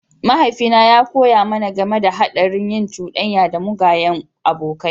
Mahaifina ya koya mana game da haɗarin yin cuɗanya da mugayen abokai.